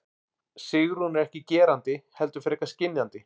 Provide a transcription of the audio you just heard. Sigrún er ekki gerandi heldur frekar skynjandi.